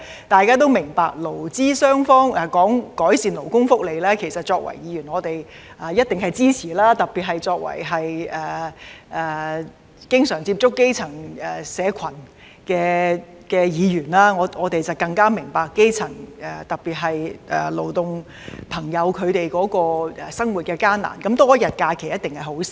大家都明白，過去勞資雙方商討改善勞工福利時，作為議員，我們一定支持，特別是作為經常接觸基層社群的議員，我們更明白基層，特別是勞工朋友的生活困難，多一天假期一定是好事。